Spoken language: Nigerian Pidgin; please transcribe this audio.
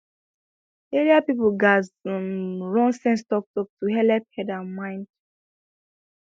area people gatz um run sense talktalk to helep head and mind